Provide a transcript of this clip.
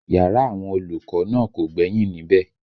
Yàrá àwọn olùkọ́ náà kò gbẹ́yìn níbẹ̀